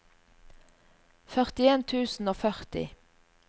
førtien tusen og førti